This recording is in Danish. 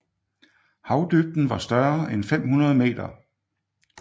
Havdybden var større end 500 m